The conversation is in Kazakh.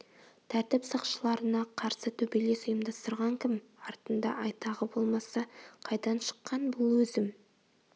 тәртіп сақшыларына қарсы төбелес ұйымдастырған кім артында айтағы болмаса қайдан шыққан бұл өзім